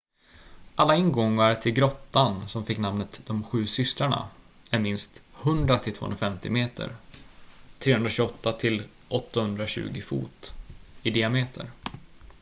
alla ingångar till grottan som fick namnet ”de sju systrarna” är minst 100 till 250 meter 328 till 820 fot i diameter